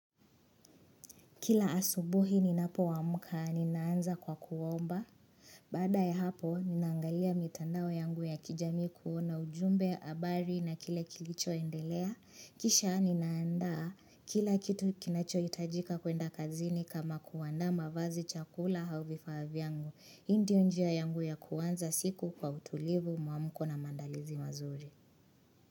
Kila asubuhi ninapoamka, ninaanza kwa kuomba. Baada ya hapo, ninaangalia mitandao yangu ya kijamii kuona ujumbe habari na kile kilichoendelea. Kisha ninaandaa, kila kitu kinacho hitajika kuenda kazini kama kuandaa mavazi chakula au vifaa vyangu. Hii ndio njia yangu ya kuanza siku kwa utulivu, muamko na mandalizi mazuri.